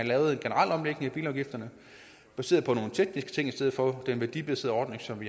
lave en generel omlægning af bilafgifterne baseret på nogle tekniske ting i stedet for have den værdibaserede ordning som